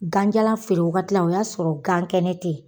Ganjalan feere wagati la o y'a sɔrɔ gan kɛnɛ tɛ ye.